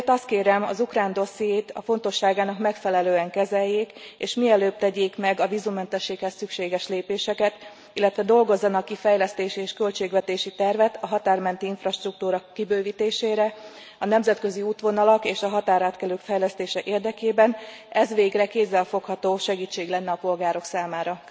Ezért azt kérem, hogy az ukrán dossziét a fontosságának megfelelően kezeljék, és mielőbb tegyék meg a vízummentességhez szükséges lépéseket, illetve dolgozzanak ki fejlesztési és költségvetési tervet a határ menti infrastruktúra kibővítésére, a nemzetközi útvonalak és a határátkelők fejlesztése érdekében, mert ez végre kézzelfogható segítség lenne a polgárok számára.